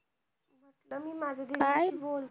काय?